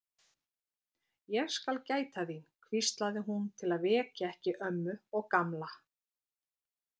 Ég skal gæta þín, hvíslaði hún til að vekja ekki ömmu og Gamla.